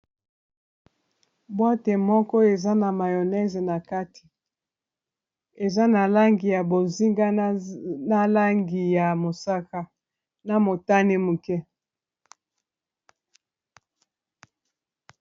Boite moko eza na mayonnaise na kati eza na langi ya bozinga na na langi ya mosaka na motane moke.